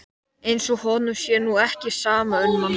Eins og honum sé nú ekki sama um mann!